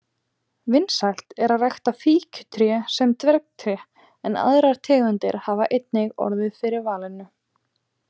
Vinsælt er að rækta fíkjutré sem dvergtré en aðrar tegundir hafa einnig orðið fyrir valinu.